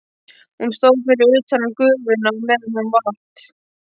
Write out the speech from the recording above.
Hún stóð fyrir utan gufuna á meðan hún vatt.